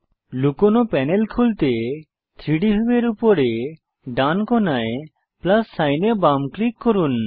লুকানো প্যানেল খুলতে 3ডি ভিউয়ের উপরে ডান কোণায় প্লাস সাইন এ বাম ক্লিক করুন